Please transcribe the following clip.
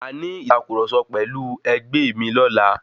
Màá ní ìtàkurọ̀sọ pẹ̀lú ẹgbé mi ọlá.